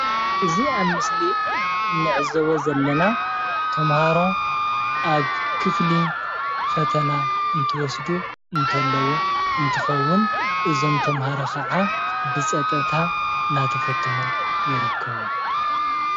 እዚ ኣብ ምስሊ እንዕዘቦ ዘለና ተምሃሮ ኣብ ክፍሊ ፈተና እንትወስዱ እንተለው እንትከውን፣ እዞም ተምሃሮ ክዓ ብፀጥታ እናተፈተኒ ይርከቡ፡፡